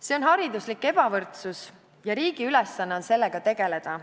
See on hariduslik ebavõrdsus ja riigi ülesanne on sellega tegeleda.